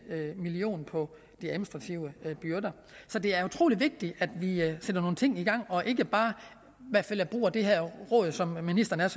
million på de administrative byrder så det er utrolig vigtigt at vi sætter nogle ting i gang og ikke bare bruger det her råd som ministeren